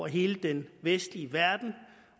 hele den vestlige verden